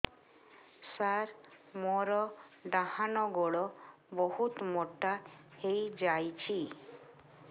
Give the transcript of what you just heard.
ସାର ମୋର ଡାହାଣ ଗୋଡୋ ବହୁତ ମୋଟା ହେଇଯାଇଛି